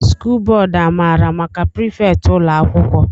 skụl bódú amara maka prifétị ụlọ akwụkwọ?